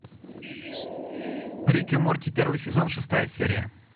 рик и морти первый сезон шестая серия